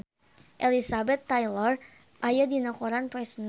Elizabeth Taylor aya dina koran poe Senen